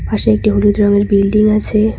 পাশে একটি হলুদ রঙের বিল্ডিং আছে।